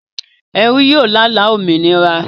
Ẹrú yóò lála òmìnira